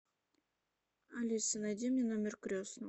алиса найди мне номер крестного